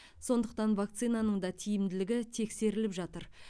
сондықтан вакцинаның да тиімділігі тексеріліп жатыр